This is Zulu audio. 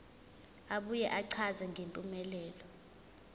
abuye achaze ngempumelelo